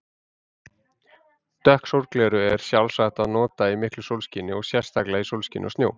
Dökk sólgleraugu er sjálfsagt að nota í miklu sólskini og sérstaklega í sólskini og snjó.